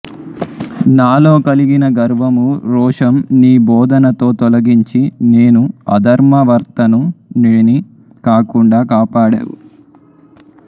నాలో కలిగిన గర్వము రోషం నీ బోధనతో తొలగించి నేను అధర్మవర్తనుడిని కాకుండా కాపాడావు